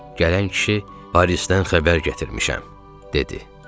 Gələn kişi Parisdən xəbər gətirmişəm dedi.